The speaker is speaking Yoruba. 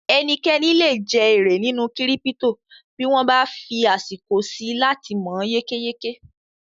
Ẹnikẹ́ni lè je èrè nínú kírípítò bí wọ́n bá fí àsìkò síi láti mọ̀ yékéyéké